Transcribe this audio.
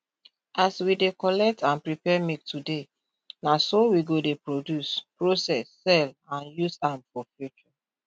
as we dey collect and prepare milk today na so we go dey produce process sell and use am for future